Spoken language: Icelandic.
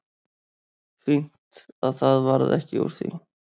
Fínt að það varð ekki úr því.